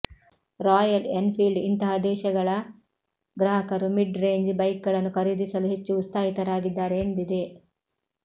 royal Enfield ಇಂತಹ ದೇಶಗಳ ಗ್ರಾಹಕರು ಮಿಡ್ ರೇಂಜ್ ಬೈಕ್ಗಳನ್ನು ಖರೀದಸಲು ಹೆಚ್ಚು ಉತ್ಸಾಹಿತರಾಗಿದ್ದಾರೆ ಎಂದಿದೆ